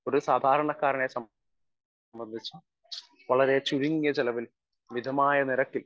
speaker 1 ഒരു സാധാരണക്കാരനെ സംബന്ധിച്ച് വളരെ ചുരുങ്ങിയ ചെലവിൽ മിതമായ നിരക്കിൽ